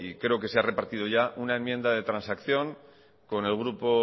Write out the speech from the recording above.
creo que se ha repartido ya una enmienda de transacción con el grupo